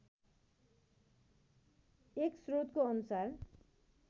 एक स्रोतको अनुसार